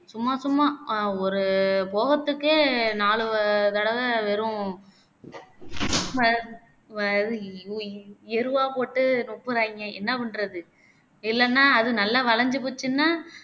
சும்மா சும்மா ஆஹ் ஒரு போகத்துக்கே நாலு தடவை வெறும் வ வ எருவா போட்டே ரொப்புறாங்கே என்ன பண்ணுறது இல்லனா அது வளஞ்சு போச்சுன்னா